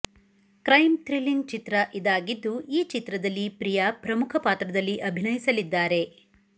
crime thrilling ಚಿತ್ರ ಇದಾಗಿದ್ದು ಈ ಚಿತ್ರದಲ್ಲಿ ಪ್ರಿಯಾ ಪ್ರಮುಖ ಪಾತ್ರದಲ್ಲಿ ಅಭಿನಯಿಸಲಿದ್ದಾರೆ